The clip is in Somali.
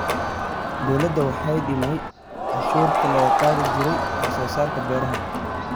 Dawladdu waxay dhimay cashuurtii laga qaadi jiray wax soo saarka beeraha.